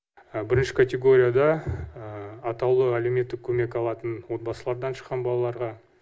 бірінші категорияда атаулы әлеуметтік көмек алатын отбасылардан шыққан балаларға